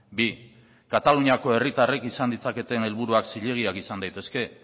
bi kataluniako herritarrek izan ditzaketen helburuak zilegiak izan daitezke